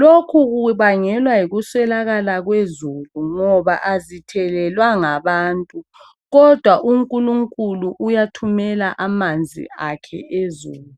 Lokhu kubangelwa yikuswelakala kwezulu ngoba azithelelwa ngabantu kodwa uNkulunkuku uyathumela amanzi akhe ezulu.